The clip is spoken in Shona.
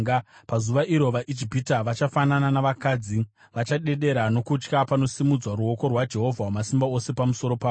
Pazuva iro, vaIjipita vachafanana navakadzi. Vachadedera nokutya panosimudzwa ruoko rwaJehovha Wamasimba Ose pamusoro pavo.